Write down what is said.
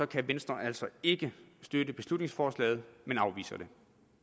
kan venstre altså ikke støtte beslutningsforslaget men afviser det